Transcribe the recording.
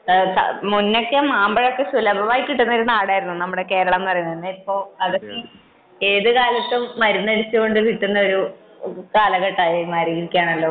മുൻപൊക്കെ മാമ്പഴമൊക്കെ സുലഭമായിട്ട് കിട്ടുന്ന നാടായിരുന്നു നമ്മളെ കേരളം എന്ന് പറയുന്നത് . ഇപ്പൊ ഏതുകാലത്തും മരുന്ന് അടിച്ചു കൊണ്ട് കിട്ടുന്ന ഒരു കാലഘട്ടമായി മാറിയിരിക്കുകയാണല്ലോ